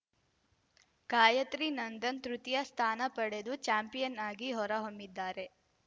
ಗಾಯಿತ್ರಿ ನಂದನ್‌ ತೃತೀಯ ಸ್ಥಾನ ಪಡೆದು ಚಾಂಪಿಯನ್‌ ಆಗಿ ಹೊರಹೊಮ್ಮಿದ್ದಾರೆ